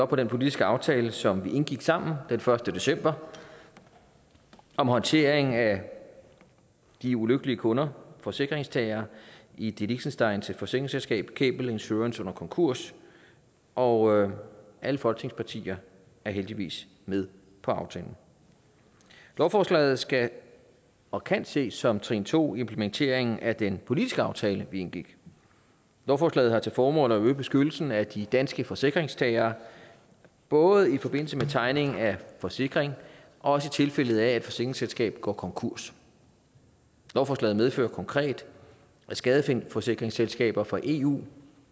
på den politiske aftale som vi indgik sammen den første december om håndteringen af de ulykkelige kunder forsikringstagere i det liechtensteinske forsikringsselskab gable insurance under konkurs og alle folketingspartier er heldigvis med på aftalen lovforslaget skal og kan ses som trin to i implementeringen af den politiske aftale vi indgik lovforslaget har til formål at øge beskyttelsen af de danske forsikringstagere både i forbindelse med tegning af forsikring og også i tilfælde af at et forsikringsselskab går konkurs lovforslaget medfører konkret at skadeforsikringsselskaber fra eu